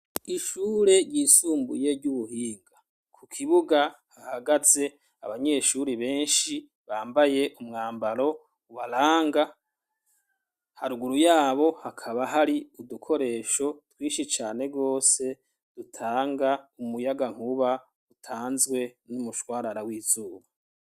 Ishure ryisumbuye, ry'ubuhinga; ku kibuga, hahagaze abanyeshuri benshi, bambaye umwambaro ubaranga; haruguru y'abo, hakaba hari udukoresho twinshi cane rwose, dutanga umuyangankuba, utanzwe n'umushwarara w'izuba.